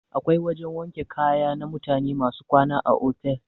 Akwai wajan wanke kaya na mutane masu kwana a otal.